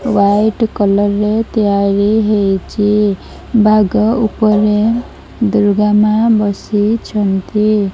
White କଲରରେ ତିଆରି ହେଇଚି ବାଘ ଉପରେ ଦୂର୍ଗା ମା ବସିଛନ୍ତି।